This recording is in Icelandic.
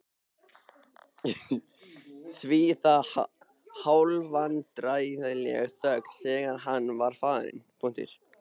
Það var hálfvandræðaleg þögn þegar hann var farinn.